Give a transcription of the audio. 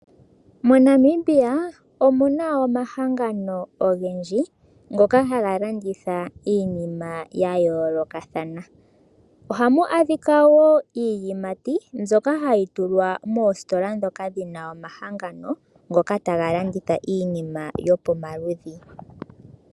MoNamibia omu na omahangano ogendji ngoka haga landitha iinima ya yoolokathana oha mu adhika wo iiyimati mbyoka hayi tulwa moositola ndhoka dhina omahangano ngoka taga landitha iiniima yopomaludhi.